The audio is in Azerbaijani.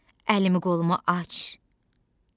Əlimi-qolumu aç.